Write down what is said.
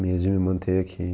Meio de me manter aqui.